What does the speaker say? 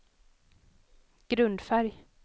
grundfärg